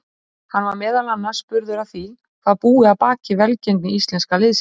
Hann var meðal annars spurður að því hvað búi að baki velgengni íslenska liðsins.